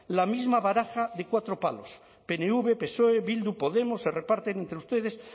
la misma baraja de cuatro palos pnv psoe bildu podemos se reparten entre ustedes